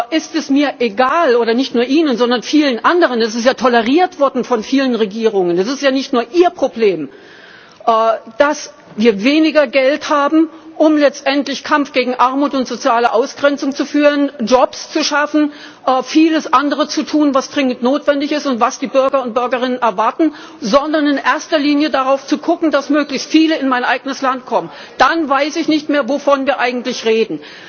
ist es mir egal oder nicht nur Ihnen, sondern vielen anderen, es ist ja toleriert worden von vielen Regierungen, es ist ja nicht nur Ihr Problem dass wir weniger Geld haben, um letztendlich Kampf gegen Armut und soziale Ausgrenzung zu führen, Jobs zu schaffen, vieles anderes zu tun, was dringend notwendig ist und was die Bürger und Bürgerinnen erwarten, sondern in erster Linie darauf guckt, dass möglichst viele in das eigene Land kommen, dann weiß ich nicht mehr, wovon wir eigentlich reden!